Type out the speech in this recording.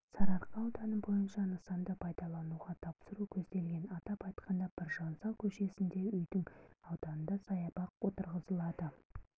сарыарқа ауданы бойынша нысанды пайдалануға тапсыру көзделген атап айтқанда біржан сал көшесінде үйдің ауданында саябақ отырғызылады